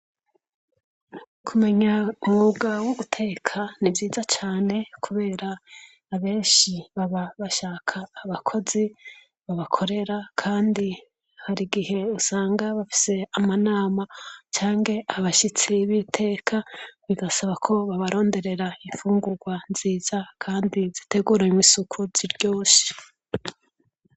Kumenya umwuga wo guteka ni vyiza cane kubera abenshi baba bashaka abakozi babakorera kandi hari igihe usanga bafise amanama canke abashitsi b'iteka bigasaba ko babaronderera imfungurwa nziza kandi ziteguranye isuku ziryoshe.